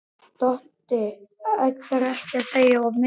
Doddi ætlar ekki að segja of mikið.